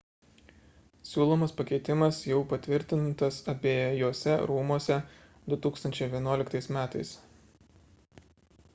siūlomas pakeitimas jau patvirtintas abejuose rūmuose 2011 m